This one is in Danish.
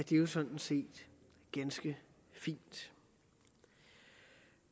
jo sådan set ganske fint